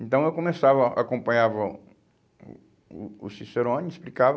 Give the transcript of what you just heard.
Então eu começava, acompanhava o o o Cicerone, explicava.